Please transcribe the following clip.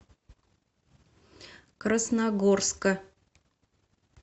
красногорска